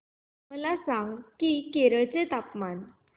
मला सांगा की केरळ चे तापमान